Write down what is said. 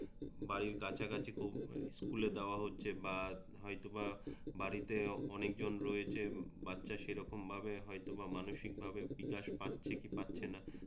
বাড়ির কোনও স্কুলে দেওয়া হচ্ছে বা হয়তোবা বাড়িতে অনেকজন রয়েছে বাচ্চা সেরকম ভাবে হয়তোবা মানসিক ভাবে বিকাশ পাচ্ছে কি পাচ্ছেনা